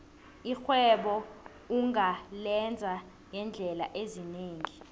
irhwebo ungalenza ngeendlela ezinengi